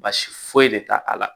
Baasi foyi de t'a a la